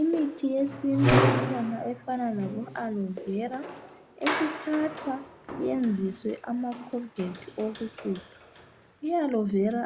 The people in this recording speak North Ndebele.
Imithi yesintu ikhona efana labo alivela. Isithathwa ukuyenziswa amakhologethi okuqubha. I alovela